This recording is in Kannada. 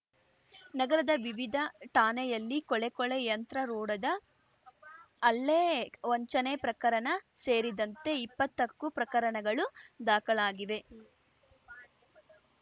ನಗರದ ವಿವಿಧ ಠಾಣೆಯಲ್ಲಿ ಕೊಲೆ ಕೊಲೆ ಯಂತ್ರ ರೋಡದ ಹಲ್ಲೆ ವಂಚನೆ ಪ್ರಕರಣ ಸೇರಿದಂತೆ ಇಪ್ಪತ್ತಕ್ಕೂ ಪ್ರಕರಣಗಳು ದಾಖಲಾಗಿವೆ